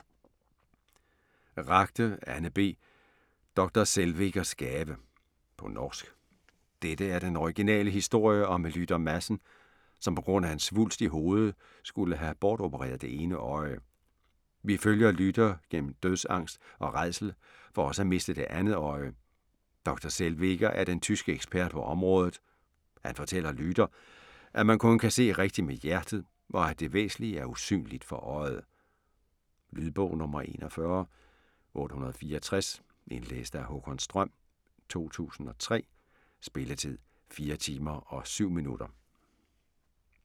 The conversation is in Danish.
Ragde, Anne B.: Dr. Zellwegers gave På norsk. Dette er den originale historie om Lyder Madsen, som på grund af en svulst i hovedet skulle have bortopereret det ene øje. Vi følger Lyder gennom dødsangst og rædsel for også at miste det andet øje. Dr. Zellweger er den tyske ekspert på området. Han fortæller Lyder, at man kun kan se rigtigt med hjertet, og at det væsentlige er usynligt for øjet. Lydbog 41864 Indlæst af Haakon Strøm, 2003. Spilletid: 4 timer, 7 minutter.